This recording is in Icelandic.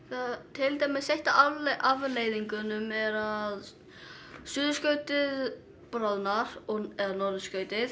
til dæmis ein af afleiðingunum er að suðurskautið bráðnar eða norðurskautið